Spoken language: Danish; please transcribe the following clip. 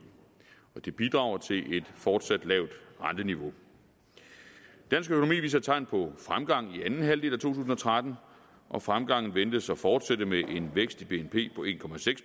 og det bidrager til et fortsat lavt renteniveau dansk økonomi viser tegn på fremgang i anden halvdel af to tusind og tretten og fremgangen ventes at fortsætte med en vækst i bnp på en